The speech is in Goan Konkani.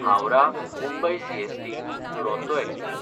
Howrah Mumbai CST Duronto express